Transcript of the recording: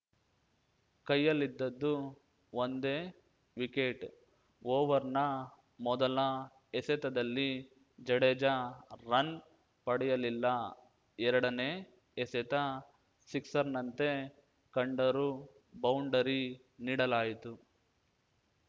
ಕೈಯಲ್ಲಿದ್ದದ್ದು ಒಂದೇ ವಿಕೆಟ್‌ ಓವರ್‌ನ ಮೊದಲ ಎಸೆತದಲ್ಲಿ ಜಡೇಜಾ ರನ್‌ ಪಡೆಯಲಿಲ್ಲ ಎರಡನೇ ಎಸೆತ ಸಿಕ್ಸರ್‌ನಂತೆ ಕಂಡರೂ ಬೌಂಡರಿ ನೀಡಲಾಯಿತು